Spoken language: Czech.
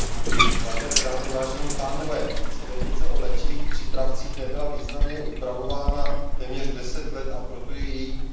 Směrnice o léčivých přípravcích nebyla významně upravována téměř deset let, a proto je její revize více než nutná.